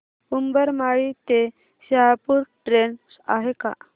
उंबरमाळी ते शहापूर ट्रेन आहे का